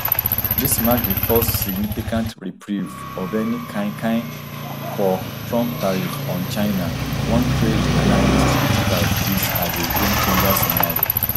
dis mark di first significant reprieve of any kind kind for trump tariffs on china one trade analyst describe dis as a gamechanger scenario